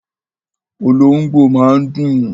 Olóhóngbò máa ń dún